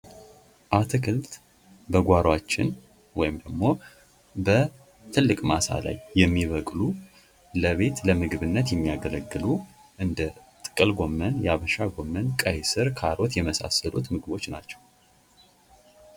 አትክልት በጓሮችን ወይም ደግሞ በትልቅ ማሳይ የሚበቅሉ ለቤት ለምግብነት የሚያገለግሉ እንደ ጥቅል ጎመን ፣የሀበሻ ጎመን፣ ቀይ ስር ፣ካሮት የመሳሰሉት ምግቦች ናቸው።